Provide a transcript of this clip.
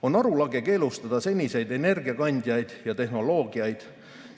On arulage keelustada seniseid energiakandjaid ja tehnoloogiaid.